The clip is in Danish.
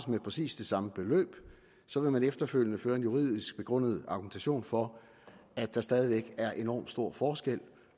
med præcis det samme beløb så vil man efterfølgende føre en juridisk begrundet argumentation for at der stadig væk er enormt stor forskel